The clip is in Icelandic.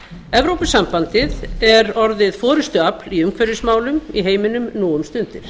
evrópusambandið er orðið forustuafl í umhverfismálum í heiminum nú um stundir